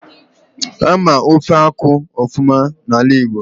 Ama ofe akwụ ofuma n'ala Igbo